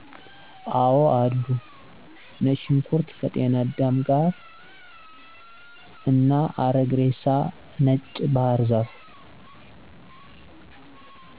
አወአሉ። ነጭ ሽንኩርት ከጤናዳም ጋር፣ አረግ ሬሳ፣ ነጭ ባሕር ዛፍ